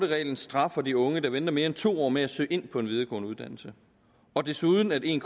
reglen straffer de unge der venter mere end to år med at søge ind på en videregående uddannelse og desuden at en